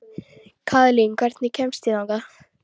Kaðlín, hvernig kemst ég þangað?